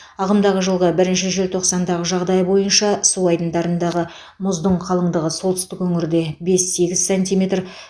ағымдағы жылғы бірінші желтоқсандағы жағдай бойынша су айдындарындағы мұздың қалыңдығы солтүстік өңірде бес сегіз сантиметр